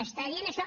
està dient això